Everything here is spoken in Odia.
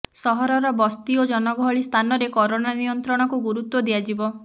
ସହରର ବସ୍ତି ଓ ଜନଗହଳି ସ୍ଥାନରେ କରୋନା ନିୟନ୍ତ୍ରଣକୁ ଗୁରୁତ୍ୱ ଦିଆଯିବ